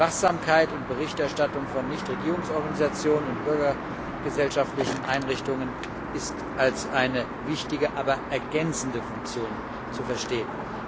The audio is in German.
Die Wachsamkeit und Berichterstattung von Nichtregierungsorganisationen und bürgergesellschaftlichen Einrichtungen ist als eine wichtige, aber ergänzende Funktion zu verstehen.